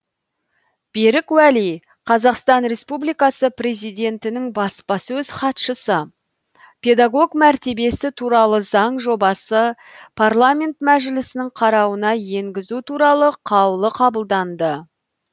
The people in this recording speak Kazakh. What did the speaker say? берік уәли қазақстан республикасы президентінің баспасөз хатшысы педагог мәртебесі туралы заң жобасы парламент мәжілісінің қарауына енгізу туралы қаулы қабылданды